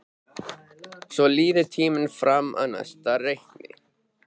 Svo líður tíminn fram að næsta reikningi.